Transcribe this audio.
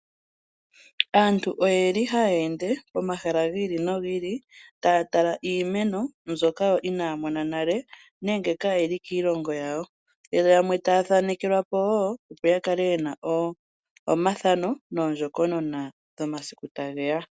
Aantu oyeli haya ende pomahala gi ili nogi ili taya tala iimeno mbyoka yo inaya mona nale, nenge kayi li kiilongo yawo. Yo yamwe taya thanekelwa po wo, opo ya kale yena omathano goondjokonona dhomasiku ta ge ya.